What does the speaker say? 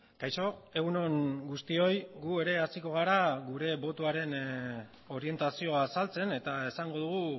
kaixo egun on guztioi gu ere hasiko gara gure botoaren orientazioa azaltzen eta esango dugu